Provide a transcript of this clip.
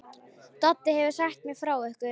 Doddi hefur sagt mér frá ykkur.